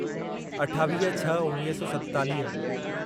अठावीह छह उणिवीह सौ सतेतालीह